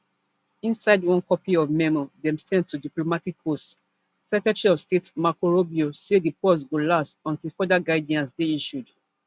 inside one copy of memo dem send to diplomatic posts secretary of state marco rubio say di pause go last until further guidance dey issued